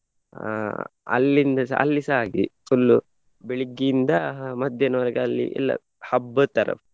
ಅಹ್ ಅಲ್ಲಿಂದಸ ಅಲ್ಲಿಸ ಹಾಗೆಯೇ full ಬೆಳಿಗ್ಗೆಯಿಂದ ಮಧ್ಯಾಹ್ನವರೆಗೆ ಅಲ್ಲಿ ಎಲ್ಲ ಹಬ್ಬದ್ ತರ.